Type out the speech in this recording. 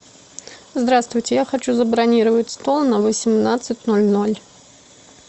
здравствуйте я хочу забронировать стол на восемнадцать ноль ноль